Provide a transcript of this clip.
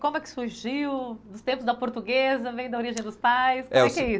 Como é que surgiu, dos tempos da portuguesa, vem da origem dos pais, como é que é isso?